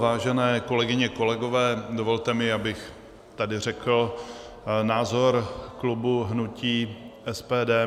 Vážené kolegyně, kolegové, dovolte mi, abych tady řekl názor klubu hnutí SPD.